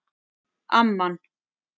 Amman